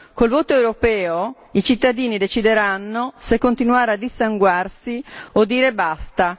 Col voto europeo, i cittadini decideranno se continuare a dissanguarsi o dire basta.